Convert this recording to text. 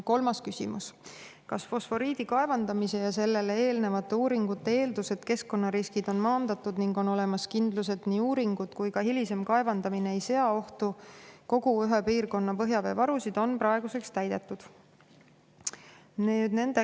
Kolmas küsimus: "Kas fosforiidi kaevandamise ja sellele eelnevate uuringute eeldus, et keskkonnariskid on maandatud ning on olemas kindlus, et nii uuringud kui ka hilisem kaevandamine ei sea ohtu kogu ühe piirkonna põhjavee varusid, on praeguseks täidetud?